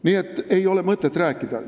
Nii et ei ole mõtet rääkidagi.